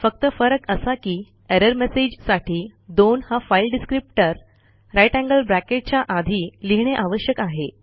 फक्त फरक असा की एरर मेसेजसाठी दोन हा file descriptor greater than sign च्या आधी लिहिणे आवश्यक आहे